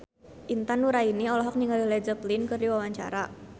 Intan Nuraini olohok ningali Led Zeppelin keur diwawancara